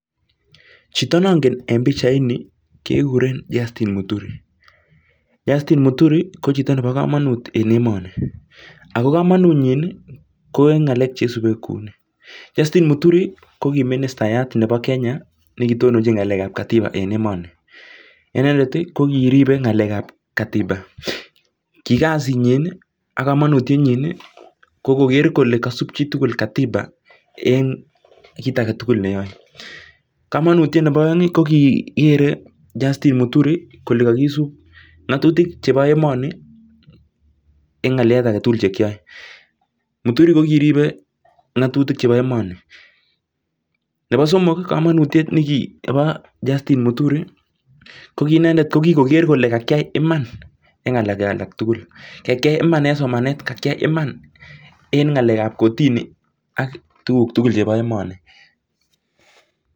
Chito nongen en pichaini ko Justin muturi ako kamunitienyi en emet ko kiteleljin inendet akobo chobey ab ng'atutik eng emet komukul